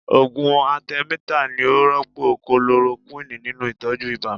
Ògùn atẹmítà ni ó rọ́pò kulorokúwìnì nínú Ìtọ́jú ibà.